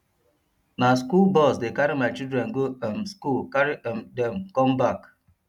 na skool bus dey carry my children go um skool carry um dem com back